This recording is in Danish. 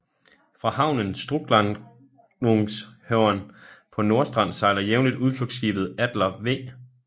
Fra havnen Strucklahnungshörn på Nordstrand sejler jævnligt udflugtskibet Adler V